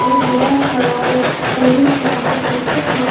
एक बड़ा सा ओ ऑरेंज कलर का पोस्टक लग --